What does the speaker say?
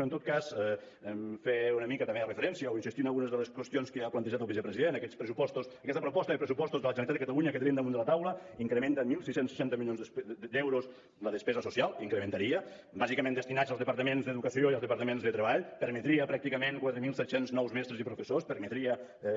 però en tot cas fer una mica també de referència o insistir en algunes de les qüestions que ja ha plantejat el vicepresident aquests pressupostos aquesta proposta de pressupostos de la generalitat de catalunya que tenim damunt de la taula incrementa en setze seixanta milions d’euros la despesa social incrementaria bàsicament destinats al departament d’educació i al departament de treball permetria pràcticament quatre mil set cents nous mestres i professors permetria